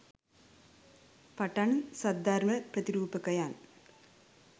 පටන් සද්ධර්ම ප්‍රතිරූපකයන්